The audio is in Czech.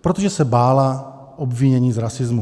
protože se bála obvinění z rasismu.